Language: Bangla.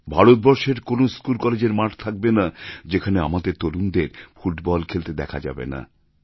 ভারতবর্ষের কোনও স্কুল কলেজের মাঠ থাকবে না যেখানে আসবে আমাদের তরুণদের ফুটবল খেলতে দেখা যাবে না